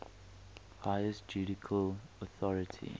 highest judicial authority